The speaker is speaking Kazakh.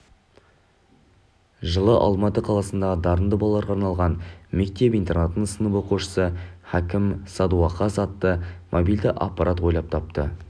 жылы алматы қаласындағы дарынды балаларға арналған мектеп-интернатының сынып оқушысы хәкім садуақас атты мобильді аппарат ойлап тапты